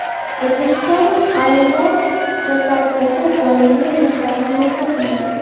Uzbekistan Airways Jakartaga doimiy reyslarni yo‘lga qo‘yadi.